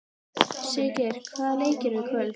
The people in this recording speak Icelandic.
Siggeir, hvaða leikir eru í kvöld?